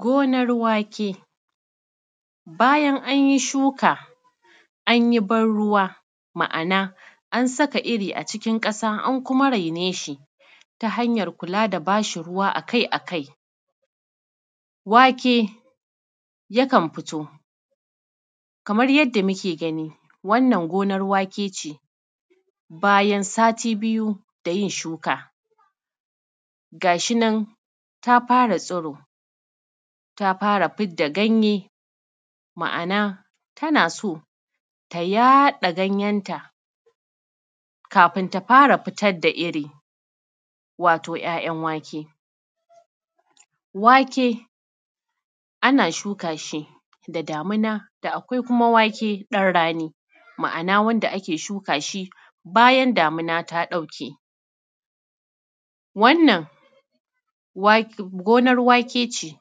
Gonar wake, bayan anyi shuka anyi ban ruwa, ma’ana an saka iri a cikin ƙasa an kuma raine shi ta hanyar kulaa da bashi ruwa akai-akai wake yakan fito. Kamar yadda muke gani wannan gonar wake ce bayan sati biyu da yin shuka, ga shinan taa fara tsio taa fara fidda ganye, ma’ana tana so ta yaɗa ganyenta kafin ta fara fitar da iri wato 'ya'yan wake. Wake ana shuka shi da damuna, da akwai kuma wake ɗan rani ma’ana wanda shuka shi bayan damuna ta ɗauke. Wannan gonar wake ce